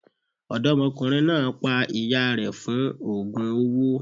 Ọ̀dọ́mọkùnrin náà pa ìyá rẹ̀ fún ògùn owó.